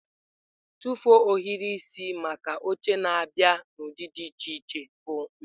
Tụfuo ohiri isi maka oche na-abịa n'ụdị dị iche iche bụ nha.